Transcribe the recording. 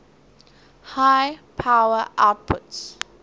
high power outputs